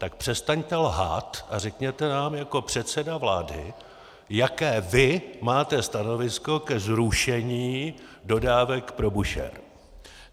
Tak přestaňte lhát a řekněte nám jako předseda vlády, jaké vy máte stanovisko ke zrušení dodávek pro Búšehr!